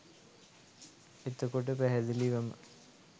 එතකොට පැහැදිලිවම